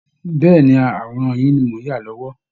Bẹ́ẹ̀ ni, àwòrán yín ni mò ń yà lọ́wọ́